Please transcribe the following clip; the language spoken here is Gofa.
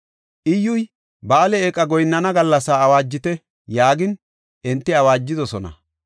Iyyuy, “Ba7aale eeqa goyinnana gallasaa awaajite” yaagin, enti awaajidosona.